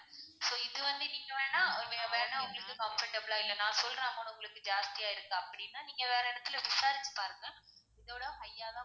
so இது வந்து நீங்கவேண்னா நீங்க வேணா உங்களுக்கு comfortable லா இல்லன்னா நான் சொல்ற amount டு உங்களுக்கு ஜாஸ்தியா இருக்கு அப்படின்னா நீங்க வேற இடத்துல விசாரிச்சு பாருங்க இதோட high யா தான்,